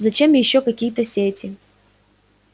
зачем ещё какие-то сети